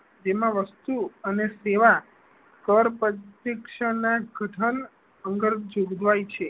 તેમાં વસ્તુ અને સેવા કર પદ થી શિક્ષણ ના અર્થઘટન અંદર જોગવાઈ છે